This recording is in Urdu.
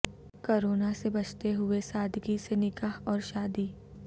کورونا سے بچتے ہوئے سادگی سے نکاح اور شادی